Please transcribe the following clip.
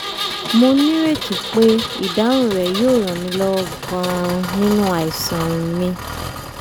mo nírètí pé ìdáhùn rẹ yóò ràn mí lọ́wọ́ gan-an nínú àìsàn mi